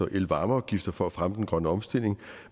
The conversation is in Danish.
og elvarmeafgiften for at fremme den grønne omstilling